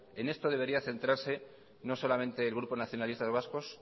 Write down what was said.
en esto debería centrarse no solamente el grupo nacionalistas vascos